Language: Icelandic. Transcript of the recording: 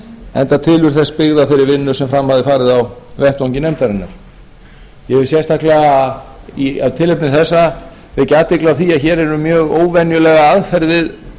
enda tilurð þess byggð á þeirri vinnu sem fram hafði farið á vettvangi nefndarinnar ég hef sérstaklega af tilefni þessa vekja athygli á því að hér er um mjög óvenjulega aðferð við lagasetningu